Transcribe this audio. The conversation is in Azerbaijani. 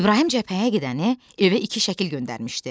İbrahim cəbhəyə gedəni evə iki şəkil göndərmişdi.